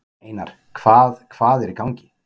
Einar, hvað hvað er í gangi?